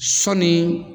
Sɔɔni